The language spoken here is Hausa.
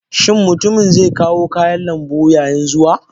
Shin mutumin zai kawo kayan lambu yayin zuwa?